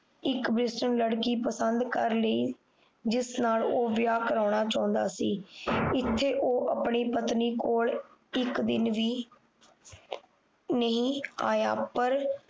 ਇੱਕ ਲੜਕੀ ਪਸੰਦ ਕਰ ਲਈ ਜਿਸ ਨਾਲ ਉਹ ਵਿਆਹ ਕਰਾਉਣਾ ਚਾਹੁੰਦਾ ਸੀ ਇਥੇ ਉਹ ਪਤਨੀ ਕੋਲ ਇੱਕ ਦਿਨ ਵੀ ਨਹੀਂ ਆਇਆ